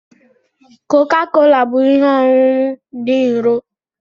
Coca-Cola bụ ihe ọṅụṅụ dị nro.